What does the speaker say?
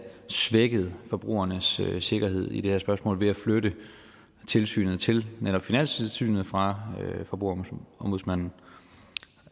svækket forbrugernes sikkerhed i det her spørgsmål ved at flytte tilsynet til netop finanstilsynet fra forbrugerombudsmanden